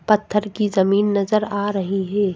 पत्थर की जमीन नजर आ रही है।